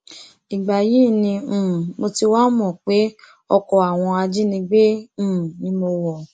ìgbà yìí ni um mo ti wáá mọ pé ọkọ àwọn ajínigbé um ni mo wọ